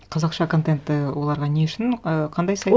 қазақша контент і оларға не үшін ы қандай сайт